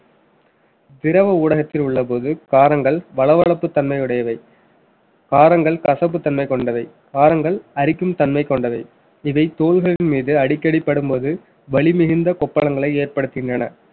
திரவ ஊடகத்தில் உள்ளபோது காரங்கள் வளவளப்பு தன்மை உடையவை காரங்கள் கசப்புத்தன்மை கொண்டவை காரங்கள் அரிக்கும் தன்மை கொண்டவை இதை தோள்களின் மீது அடிக்கடி படும்போது வலி மிகுந்த கொப்பளங்களை ஏற்படுத்துகின்றன